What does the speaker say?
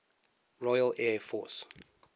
royal air force